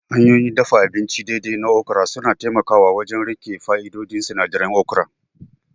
Hanyoyin dafa abinci daidai na okra suna taimakawa wajen riƙe fa'idodin sinadirai na okra